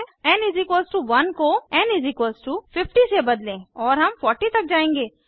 N 1 को N 50 से बदलें और हम 40 तक जायेंगे